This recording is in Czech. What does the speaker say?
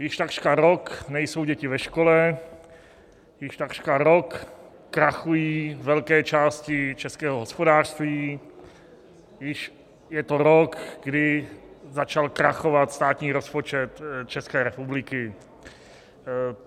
Již takřka rok nejsou děti ve škole, již takřka rok krachují velké části českého hospodářství, již je to rok, kdy začal krachovat státní rozpočet České republiky.